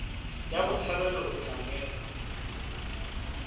wa botshabelo o tla newa